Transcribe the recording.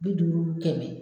Bi duuru kɛmɛ